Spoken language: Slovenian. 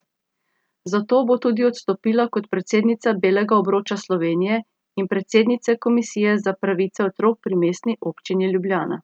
Zato bo tudi odstopila kot predsednica Belega obroča Slovenije in predsednice komisije za pravice otrok pri Mestni občini Ljubljana.